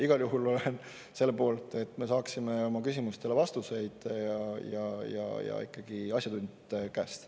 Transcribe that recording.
Igal juhul olen selle poolt, et me saaksime oma küsimustele vastused, ja ikkagi asjatundjate käest.